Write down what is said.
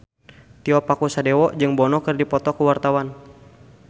Tio Pakusadewo jeung Bono keur dipoto ku wartawan